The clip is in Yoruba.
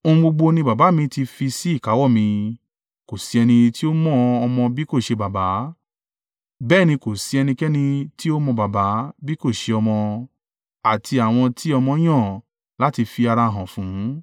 “Ohun gbogbo ni Baba mi ti fi sí ìkáwọ́ mi. Kò sí ẹni tí ó mọ ọmọ bí kò ṣe Baba, bẹ́ẹ̀ ni kò sí ẹnikẹ́ni tí ó mọ Baba, bí kò ṣe ọmọ, àti àwọn tí ọmọ yan láti fi ara hàn fún.